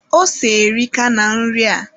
Ose erika na nri a